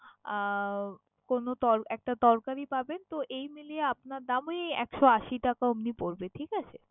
আহ কোন তল~ একটা তরকারি পাবেন। তো এই মিলিয়ে আপনার দাম ওই একশো আশি টাকা ওরকমই পরবে, ঠিক আছে?